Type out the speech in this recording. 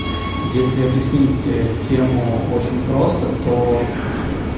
если объяснить тему очень просто то